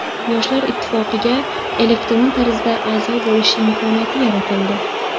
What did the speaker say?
Yoshlar ittifoqiga elektron tarzda a’zo bo‘lish imkoniyati yaratildi.